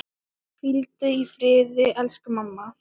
Hvíldu í friði, elsku mamma.